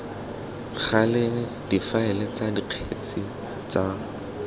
gale difaele tsa dikgetse tsa